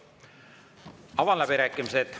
Avan läbirääkimised.